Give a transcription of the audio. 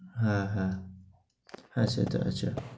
হ্যাঁ হ্যাঁ, সেটা সেটা।